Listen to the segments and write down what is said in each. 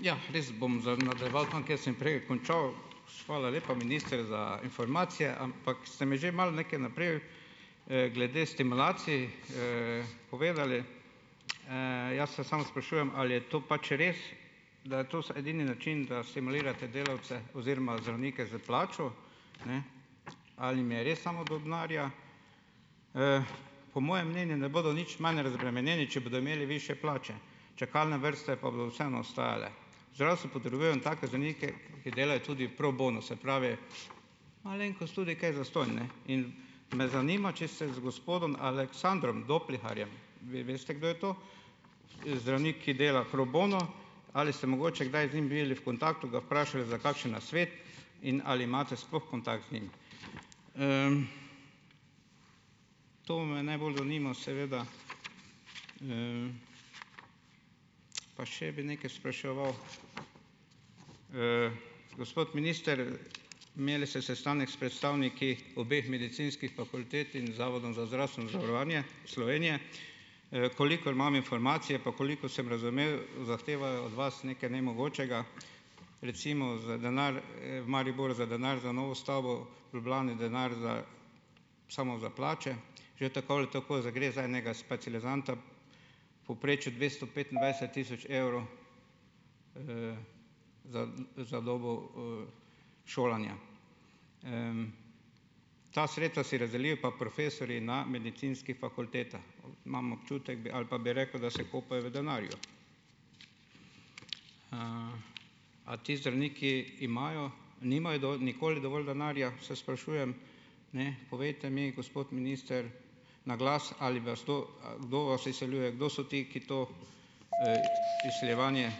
Ja, jaz bom nadaljeval tam, kjer sem prej končal. Hvala lepa, minister, za informacije, ampak ste mi že malo nekaj naprej, glede stimulacij, povedali. jaz se samo sprašujem, ali je to pač res, da je to edini način, da stimulirate delavce, oziroma zdravnike s plačo. Ne. Ali jim je res samo do denarja? Po mojem mnenju ne bodo nič manj razbremenjeni, če bodo imeli višje plače, čakalne vrste pa bodo vseeno ostajale. Zdravstvo potrebuje take zdravnike, ki delajo tudi pro bono, se pravi, malenkost tudi kaj zastonj, ne. In me zanima, če se z gospodom Aleksandrom Dopliharjem, vi veste, kdo je to - zdravnik, ki dela pro bono - ali ste mogoče kdaj z njim bili v kontaktu, ga vprašali za kakšen nasvet? In ali imate sploh kontakt z njim? To me najbolj zanima seveda. Pa še bi nekaj spraševal. Gospod minister, imeli ste sestanek s predstavniki obeh medicinskih fakultet in z Zavodom za zdravstveno zavarovanje Slovenije, - kolikor imam informacije pa kolikor sem razumel, zahtevajo od vas nekaj nemogočega. Recimo za denar, v Mariboru za denar za novo stavbo, v Ljubljani denar za samo za plače. Že tako ali tako za gre za enega specializanta v povprečju dvesto petindvajset tisoč evrov, za za dobo, šolanja. Ta sredstva si razdelijo pa profesorji na medicinskih fakultetah. Imam občutek ali pa bi rekel, da se kopajo v denarju. A ti zdravniki imajo nimajo nikoli dovolj denarja, se sprašujem. Ne. Povejte mi, gospod minister, na glas, ali vas kdo, kdo vas izsiljuje? Kdo so ti, ki to, izsiljevanje,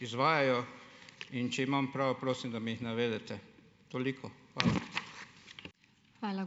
izvajajo? In če imam prav, prosim, da mi jih navedete. Toliko, hvala.